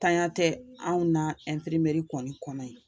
Tanya tɛ anw na kɔni kɔnɔ yen